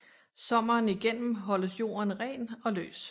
Sommeren igennem holdes jorden ren og løs